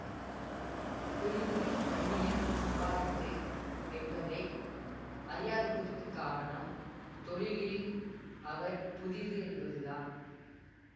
புரிந்து புண்ணியம் சம்பாதித்து என்பதை அறியாததற்குக் காரணம் தொழிலில் அவர் புதிது என்பதுதான்